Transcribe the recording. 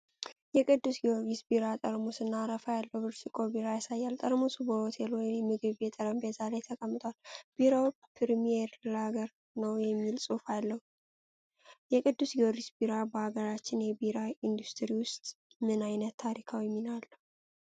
የቅዱስ ጊዮርጊስ ቢራ ጠርሙስ እና አረፋ ያለው ብርጭቆ ቢራ ያሳያል። ጠርሙሱ በሆቴል ወይም ምግብ ቤት ጠረጴዛ ላይ ተቀምጧል። ቢራው ፕሪሚየም ላገር ነው የሚል ጽሁፍ አለው። የቅዱስ ጊዮርጊስ ቢራ በአገራችን የቢራ ኢንዱስትሪ ውስጥ ምን ዓይነት ታሪካዊ ሚና አለው?